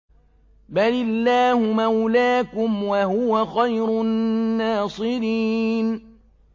بَلِ اللَّهُ مَوْلَاكُمْ ۖ وَهُوَ خَيْرُ النَّاصِرِينَ